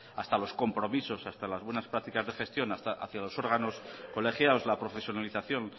hasta los compromisos hasta las buenas prácticas de gestión hacia los órganos colegiados la profesionalización